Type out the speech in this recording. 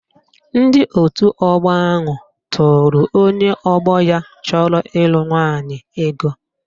Ndị otu ọgbọ ahụ tụrụ onye ọgbọ ya chọrọ ịlụ nwaanyị ego